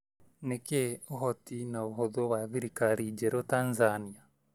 Nĩ kĩĩ ũhoti na ũhũthũ wa thirikari njerũ Tanzania?